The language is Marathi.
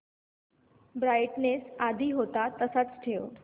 ब्राईटनेस आधी होता तसाच ठेव